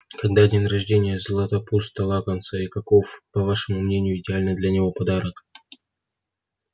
когда день рождения златопуста локонса и каков по вашему мнению идеальный для него подарок